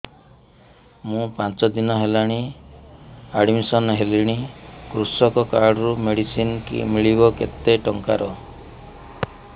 ମୁ ପାଞ୍ଚ ଦିନ ହେଲାଣି ଆଡ୍ମିଶନ ହେଲିଣି କୃଷକ କାର୍ଡ ରୁ ମେଡିସିନ ମିଳିବ କେତେ ଟଙ୍କାର